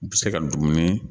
U bɛ se ka dumuni